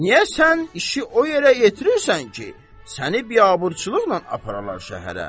Niyə sən işi o yerə yetirirsən ki, səni biabırçılıqla aparalar şəhərə.